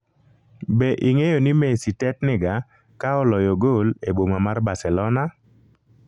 be ing'eyo ni Messi tetniga ka oloyo gol e boma mar Barcelona?